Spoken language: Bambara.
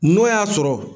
N'o y'a sɔrɔ